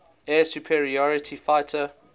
air superiority fighter